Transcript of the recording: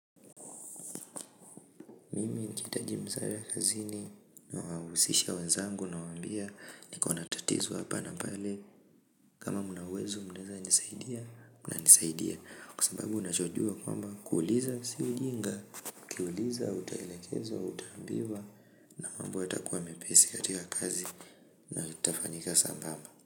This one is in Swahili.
Mimi nikihitaji nizoewe kazini na husisha wenzangu nawambia nikona tatizo hapa na pale kama mnauwezo mnaweza nisaidia na nisaidia kwa sababu unachojua kwamba kuuliza si ujinga kiuuliza, utaelekezwa, utaambiwa, na mambo yatakuwa mepesi katika kazi na itafanyika sambamba.